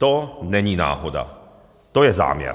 To není náhoda, to je záměr.